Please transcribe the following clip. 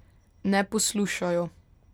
Ne poslušajo.